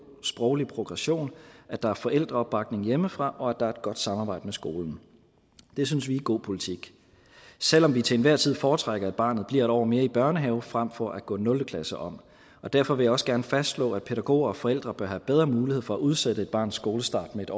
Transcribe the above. sproglig progression at der er forældreopbakning hjemmefra og at der er et godt samarbejde med skolen det synes vi er god politik selv om vi til enhver tid foretrækker at barnet bliver en år mere i børnehave frem for at gå nul klasse om derfor vil jeg også gerne fastslå at pædagoger og forældre bør have bedre mulighed for at udsætte et barns skolestart med